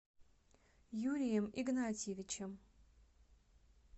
юрием игнатьевичем